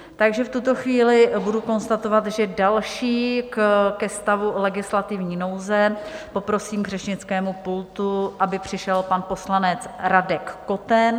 Takže v tuto chvíli budu konstatovat, že další ke stavu legislativní nouze, poprosím k řečnickému pultu, aby přišel pan poslanec Radek Koten.